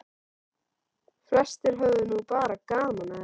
Flestir höfðu nú bara gaman að þessu.